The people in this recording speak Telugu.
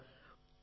అవును సార్